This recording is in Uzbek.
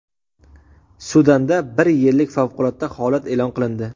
Sudanda bir yillik favqulodda holat e’lon qilindi.